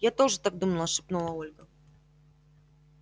я тоже так думала шепнула ольга